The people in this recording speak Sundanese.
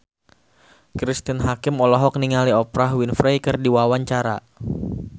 Cristine Hakim olohok ningali Oprah Winfrey keur diwawancara